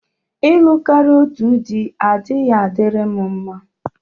Ịlụ karịa otu dị agaghị adịrị m mma.